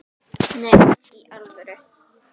Nei, í alvöru